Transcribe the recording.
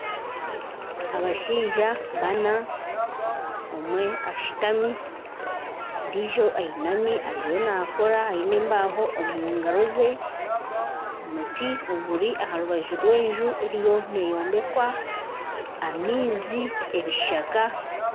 Abashaija bana omwe ashutami, ondiijo ayinami ariho naakora ayine embeho omu ngaro ze. Omuti oguri aha rubaju rwenju eriyo neyombekwa.